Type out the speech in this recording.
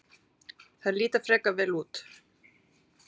Þær líta frekar vel út.